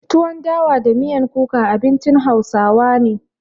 Tuwon dawa da miyan kuka abincin hausawa na.